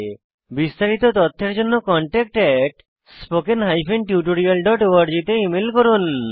বিস্তারিত তথ্যের জন্য contactspoken tutorialorg তে ইমেল করুন